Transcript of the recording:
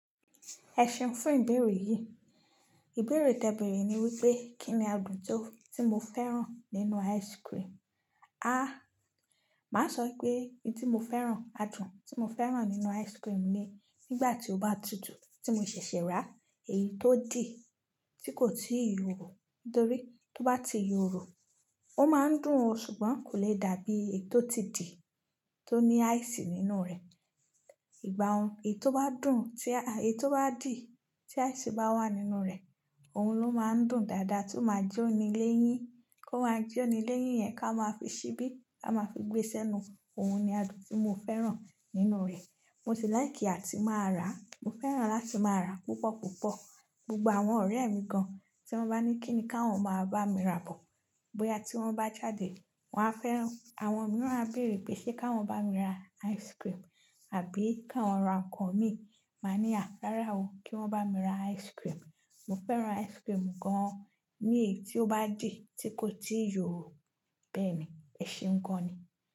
Ẹ ṣeun fún ìbéèrè yìí. Ìbéèrè tẹ́ẹ bèèrè ní wípé kín ni adùn tó tí mo fẹ́ràn nínú ice-cream? Màá sọ pé ohun tí mo fẹ́ràn, adùn tí mo fẹ́ràn nínú ice-cream ni nígbà tí ó bá tutù, tí mo ṣẹ̀ṣẹ̀ ràá, èyí tó dì tí kò tíì yòrò. Nítorí tí ó bá ti yòrò, ó máa ń dùn o ṣùgbọ́n kò le dàbí èyí tó ti dì, tó ní ice nínú rẹ̀. Ìgbàun èyí tó bá dùn tí a, èyí tó bá dì tí ice bá wà nínú rẹ̀, òun ló máa ń dùn dáadáa tí ó máa jóni léyín. Kó máa jóni léyìn yẹn ká máa fi ṣíbí, ká máa fi gbé sẹ́nu, òun ni adùn tí mo fẹ́ràn nínú rẹ̀. Mo sì láìkì àti máa ràá, mo fẹ́ràn láti máa ràá púpọ̀ púpọ̀. Gbogbo àwọn ọ̀rẹ́ mi gan-an tí wọ́n bá ní kí ni káwọn máa bá mi rà bọ̀, bóyá tí wọ́n bá jáde, wọ́n á fẹ́ràn, àwọn mìíràn á bèèrè pé ṣé káwọn bá mi ra ice-cream àbí káwọn ra nǹkan míì, màá ní àà rárá o, kí wọ́n bá mi ra ice-cream. Mo fẹ́ràn ice-cream gan-an ní èyí tí ó bá dì tí kò tíì yòrò. Bẹ́ẹ̀ni, ẹ ṣeun gan-an ni.